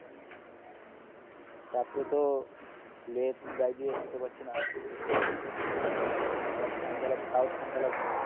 রাত্রে তো লেপ গায়ে দিয়ে শুতে পারছিনা আবার ফ্যান চালাচ্ছি তাও ঠান্ডা লাগছে